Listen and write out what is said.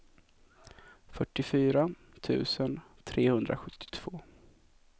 fyrtiofyra tusen trehundrasjuttiotvå